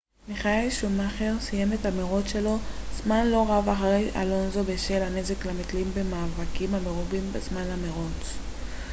מיכאל שומאכר סיים את המרוץ שלו זמן לא רב אחרי אלונסו בשל הנזק למתלים במאבקים המרובים בזמן המרוץ